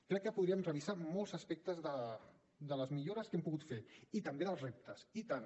crec que podríem revisar molts aspectes de les millores que hem pogut fer i també dels reptes i tant